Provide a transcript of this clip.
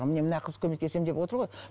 міне мына қыз көмектесемін деп отыр ғой